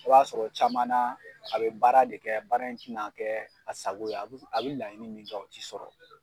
Aw b'a sɔrɔ caman na a bɛ baara de kɛ baara in tɛ na kɛ a sago ye a bɛ laɲini min kɛ u tɛ sɔrɔ.